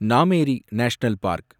Nameri national park